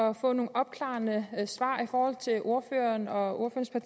at få nogle opklarende svar i forhold til ordføreren og